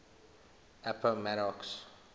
appomattox